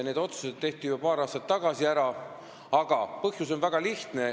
Need otsused tehti juba paar aastat tagasi ära ja põhjus on väga lihtne.